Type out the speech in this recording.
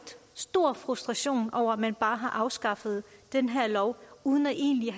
stor frustration over at man bare har afskaffet den her lov uden egentlig